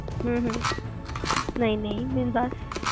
ਹਮ ਹਮ ਨਹੀ-ਨਹੀ ਮੈਨੂੰ ਦੱਸ